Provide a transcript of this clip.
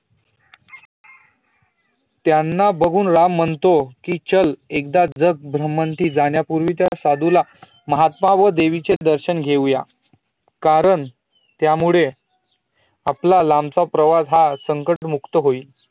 त्यांना बघुन राम म्हणतो की, चल एक दा जग ब्रमंती जाण्या अगोदर त्या साधुला महात्मा व देवीचे दर्षण घेऊया कारण त्यामुळेआपला लांब चा प्रवास हा संकट मुक्त होइल